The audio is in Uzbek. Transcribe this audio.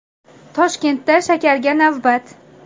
Toshkentda shakarga navbat.